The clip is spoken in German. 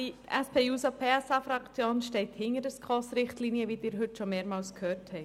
Die SP-JUSO-PSA-Fraktion steht hinter den SKOS-Richtlinien, wie Sie heute schon mehrmals gehört haben.